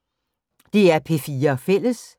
DR P4 Fælles